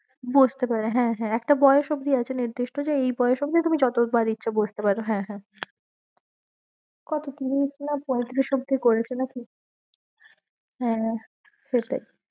বসতে পারে হ্যাঁ হ্যাঁ একটা বয়েস অবধি আছে টা যে এই বয়েস অবধি তুমি যত বার ইচ্ছা বসতে পারো হ্যাঁ হ্যাঁ অবধি করে ফেলেছি হ্যাঁ সেটাই